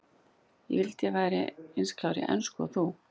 Ég vildi að ég væri eins klár í ensku og þú.